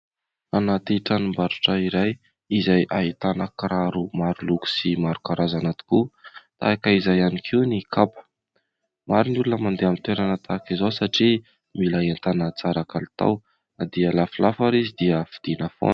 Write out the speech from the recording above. Anaty tranombarotra iray izay ahitana kiraro maro loko sy maro karazana tokoa. Tahaka izay ihany koa ny kapa. Maro ny olona mandeha amin'ny toerana tahaka izao satria mila entana tsara kalitao, na dia lafolafo ary izy dia vidiana foana.